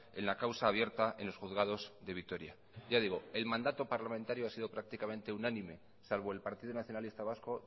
en la causa abierta en los juzgados de vitoria ya digo el mandato parlamentario ha sido prácticamente unánime salvo el partido nacionalista vasco